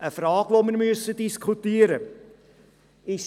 Dies ist eine Frage, die wir diskutieren müssen.